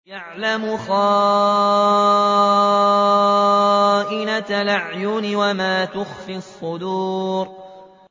يَعْلَمُ خَائِنَةَ الْأَعْيُنِ وَمَا تُخْفِي الصُّدُورُ